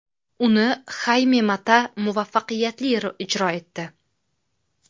Uni Hayme Mata muvaffaqiyatli ijro etdi.